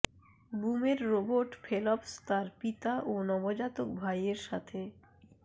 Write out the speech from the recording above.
বুমের Robert Phelps তার পিতা ও নবজাতক ভাইয়ের সাথে